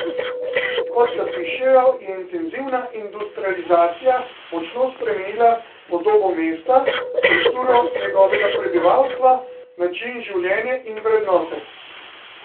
Kot zapišejo, je intenzivna industrializacija močno spremenila podobo mesta, strukturo njegovega prebivalstva, način življenja in vrednote.